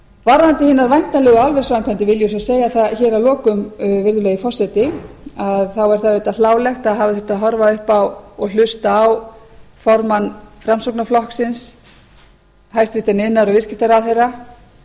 varðandi hinar væntanlegu álversframkvæmdir vil ég svo segja það hér að lokum virðulegi forseti að þá er það auðvitað hlálegt að hafa þurft að horfa upp á og hlusta á formann framsóknarflokksins hæstvirtur iðnaðar og viðskiptaráðherra